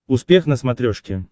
успех на смотрешке